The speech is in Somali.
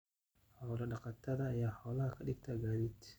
Xoolo-dhaqatada ayaa xoolaha ka dhigta gaadiid.